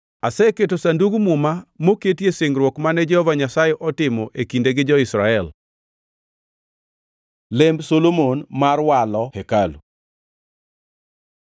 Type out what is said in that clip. Aseketo Sandug Muma ma moketie singruok mane Jehova Nyasaye otimo e kinde gi jo-Israel.” Lemb Solomon mar Walo hekalu